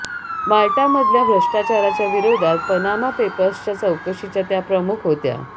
माल्टामधल्या भ्रष्टाचाराच्या विरोधात पनामा पेपर्सच्या चौकशीच्या त्या प्रमुख होत्या